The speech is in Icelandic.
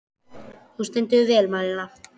Þú stendur þig vel, Malía!